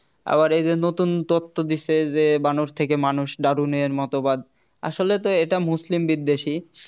আবার এই যে নতুন তথ্য দিছে যে বানর থেকে মানুষ darwin এর মতোবাদ আসলে তো এটা মুসলিম বিদ্বেষী